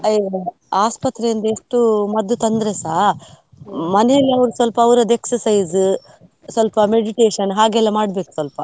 ಆ ಇವ್ರೇ ಆಸ್ಪತ್ರೆಯಿಂದ ಎಷ್ಟು ಮದ್ದು ತಂದ್ರೆಸ, ಮನೆಯಲ್ಲಿ ಅವ್ರು ಸ್ವಲ್ಪ ಅವ್ರುದ್ದು exercise , ಸ್ವಲ್ಪ meditation ಹಾಗೆಲ್ಲ ಮಡ್ಬೇಕು ಸ್ವಲ್ಪ.